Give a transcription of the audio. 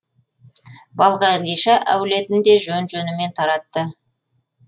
балқадиша әулетін де жөн жөнімен таратты